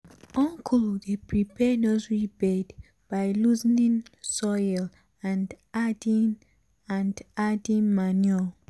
uncle dey prepare nursery bed by loosening soil and adding and adding manure. um